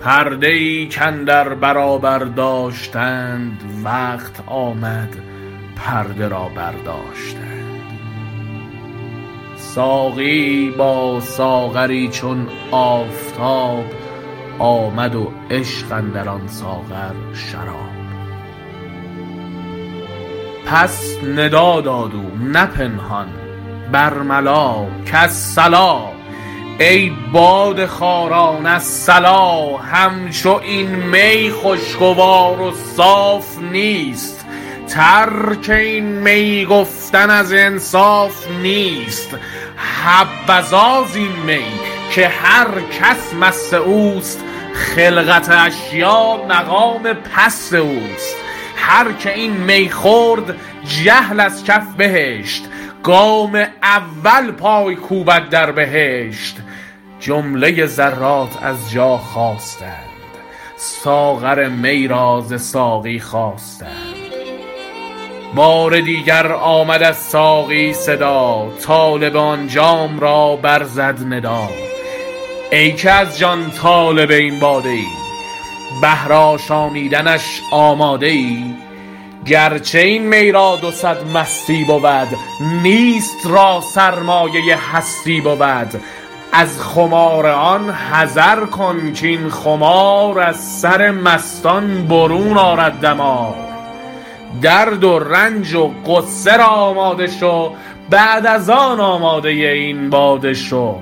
در بیان تجلی دوم و اظهار شأن و مراتب بر ماسوی و عرض امانت عشق و شدت طلب به اندازه ی استعداد در هر یک و خیمه زدن تمامیت آن در ملک وجود انسانی به مصداق آیه انا عرضنا الامانة علی السموات و الارض و الجبال فابین ان یحملنها و اشفقن منها و حملها الانسان انه کان ظلوما جهولا جلوه ای کرد رخش دید ملک عشق نداشت عین آتش شد ازین غیرت و بر آدم زد حافظ چه ملک را که عقل خالص است و از شهوت محروم این مرتبه حاصل نیست فرشته عشق نداند که چیست قصه مخوان بیار جام شرابی به خاک آدم ریز حافظ و حیوان را که شهوت صرف و از عقل بی نصیب این منزله و مرتبه را واصل نه حیوان را خبر از عالم انسانی نیست- وجود انسانی هر دو جنبه را داراست پرده ای کاندر برابر داشتند وقت آمد پرده را برداشتند ساقی یی با ساغری چون آفتاب آمد و عشق اندر آن ساغر شراب پس ندا داد او نه پنهان برملا کالصلا ای باده خواران الصلا همچو این می خوشگوار و صاف نیست ترک این می گفتن از انصاف نیست حبذا زین می که هر کس مست اوست خلقت اشیا مقام پست اوست هرکه این می خورد جهل از کف بهشت گام اول پای کوبد در بهشت جملۀ ذرات از جا خاستند ساغر می را ز ساقی خواستند بار دیگر آمد از ساقی صدا طالب آن جام را بر زد ندا ای که از جان طالب این باده ای بهر آشامیدنش آماده ای گرچه این می را دوصد مستی بود نیست را سرمایۀ هستی بود از خمار آن حذر کن کاین خمار از سر مستان برون آرد دمار درد و رنج و غصه را آماده شو بعد از آن آمادۀ این باده شو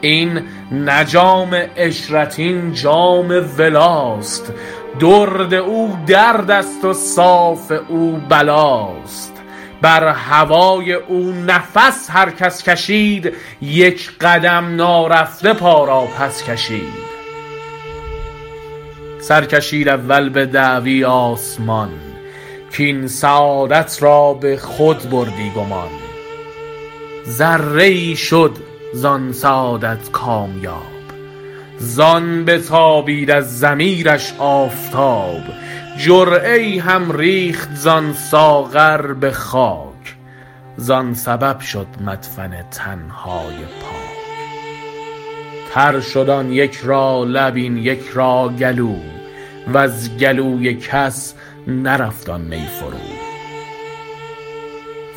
این نه جام عشرت این جام ولاست درد او دردست و صاف او بلاست بر هوای او نفس هر کس کشید یک قدم نارفته پا را پس کشید سرکشید اول به دعوی آسمان کاین سعادت را به خود بردی گمان ذره یی شد ز آن سعادت کامیاب ز آن بتابید از ضمیرش آفتاب جرعه یی هم ریخت ز آن ساغر به خاک ز آن سبب شد مدفن تن های پاک تر شد آن یک را لب این یک را گلو وز گلوی کس نرفت آن می فرو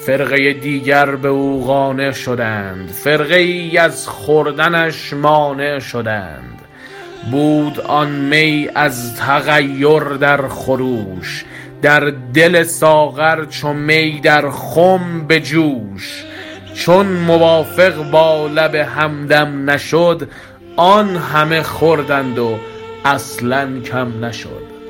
فرقه دیگر به بو قانع شدند فرقه ای از خوردنش مانع شدند بود آن می از تغیر در خروش در دل ساغر چو می در خم به جوش چون موافق با لب همدم نشد آن همه خوردند و اصلا کم نشد